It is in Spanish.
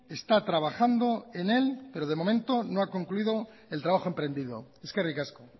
está trabajando en él pero de momento no ha concluido el trabajo emprendido eskerrik asko